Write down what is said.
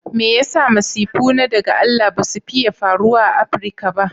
Me yasa masifu na daga Allah basu fiiye faruwa a Africa ba?